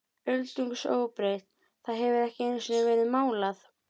Öldungis óbreytt, það hefur ekki einusinni verið málað.